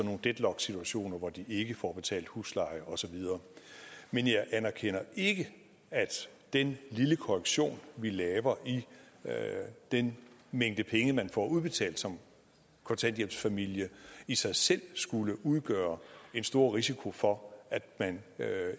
nogle deadlock situationer hvor de ikke får betalt husleje og så videre men jeg anerkender ikke at den lille korrektion vi laver i den mængde penge man får udbetalt som kontanthjælpsfamilie i sig selv skulle udgøre en stor risiko for at man